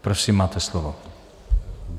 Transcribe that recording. Prosím, máte slovo.